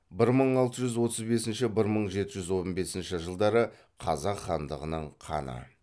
қазақ хандығының ханы